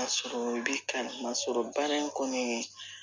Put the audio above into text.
Ka sɔrɔ bi kan ka sɔrɔ baara in kɔni